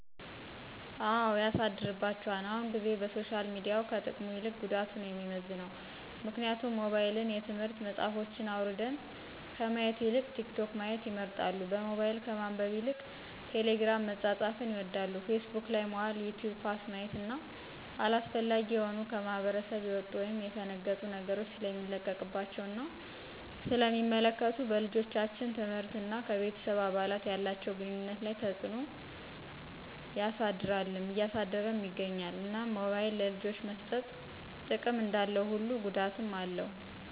አው ያሳድርባቸዋል አሁን ጊዜ በሶሻል ሚዲያው ከጥቅሙ ይልቅ ጉዳቱ ነው የሚመዝነው ምክንያቱም ሞባይልን የትምህርት መፅሐፎችን አውራድን ከማየት ይልቅ ቲክቶክ ማየት ይመርጣሉ በሞባይል ከማንበብ ይልቅ ቴሊግርም መፃፃፍን ይወዳሉ ፊስቡክ ላይ መዋል ይቲውብ ኳስ ማየት እነ አላስፈላጊ የሆኑ ከማህብረስብ የውጡ ወይም የፈነገጡ ነገሮች ሰለሚለቀቀባቸው እና ስለ ሚመለከቱ በልጆቻችን ትምህርት እና ከቤተሰብ አባላት ያላቸውን ግኑኝነት ላይ ተፅዕኖ ያሰድርልም እያሳደረም ይገኛል። እናም ሞባይል ለልጆች መሰጠት ጥቅም እንዳለው ሁሉ ጉዳትም አለው